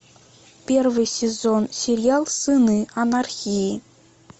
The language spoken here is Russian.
первый сезон сериал сыны анархии